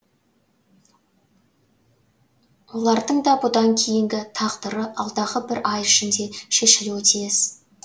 олардың да бұдан кейінгі тағдыры алдағы бір ай ішінде шешілуі тиіс